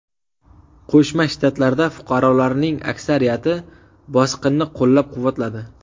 Qo‘shma Shtatlarda fuqarolarning aksariyati bosqinni qo‘llab-quvvatladi.